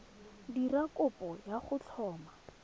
dira kopo ya go tlhoma